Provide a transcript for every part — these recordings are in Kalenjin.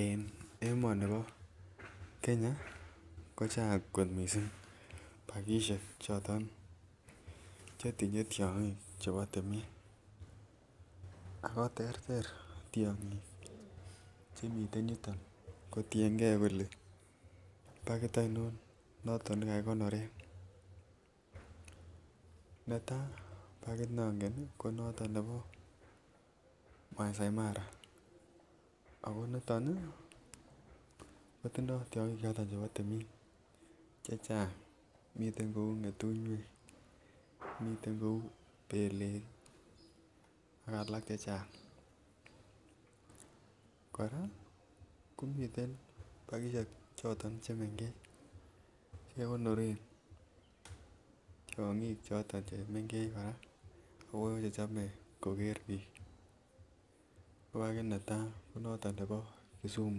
En emonibo Kenya kochang kot missing pakishek choton chetinye tyogik chebo timin ako terter tyogik chemiten yuton kotiengee kole pakit ainon noton ne kakigonoren. Netaa pakit nongen ko noton nebo maasai mara ako niton ii kotindo tyogik cheton chebo timin chechang, miten kouu ngetunyik, miten kouu belek ak alak chechang. Koraa ko miten pakishek choton che mengech che kegonoren tyogik choton che mengech koraa ako chechone koger biik, ko pakit netaa ko pakit nebo Kisumu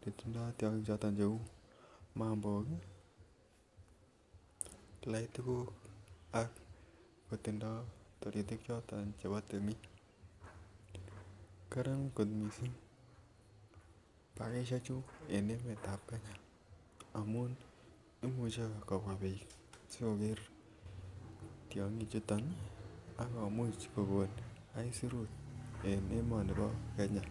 ne tindo tyogik choton che uu mambok, laitikok ak kotindo taritik choton chebo timin. Karan kot missing pakishek chu en emetab Kenya amun imuche kobwaa biik si koger tyogik chuton ak komuch kogon isurut en emoni bo Kenya.